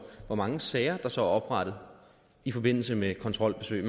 hvor mange sager der så er oprettet i forbindelse med kontrolbesøg